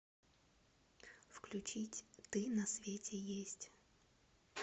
включить ты на свете есть